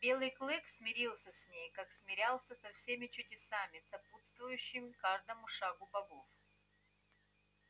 белый клык смирился с ней как смирялся со всеми чудесами сопутствующими каждому шагу богов